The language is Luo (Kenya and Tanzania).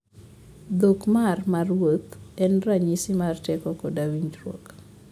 Dhok mar maruoth en ranyisi mar teko koda winjruok.